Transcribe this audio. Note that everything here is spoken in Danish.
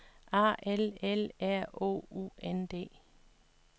A L L R O U N D